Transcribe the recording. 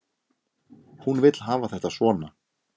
Hún vill hafa þetta svona.